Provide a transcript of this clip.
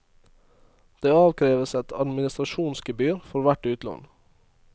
Det avkreves et administrasjonsgebyr for hvert utlån.